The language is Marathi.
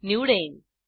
निवडेन